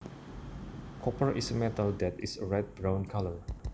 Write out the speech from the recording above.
Copper is a metal that is a red brown colour